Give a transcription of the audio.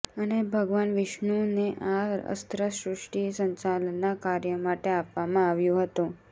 અને ભગવાન વિષ્ણુને આ અસ્ત્ર સૃષ્ટિ સંચાલનના કાર્ય માટે આપવામાં આવ્યું હતું